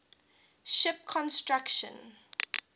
ship construction